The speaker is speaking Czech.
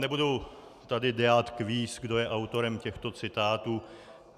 Nebudu tady dělat kvíz, kdo je autorem těchto citátů.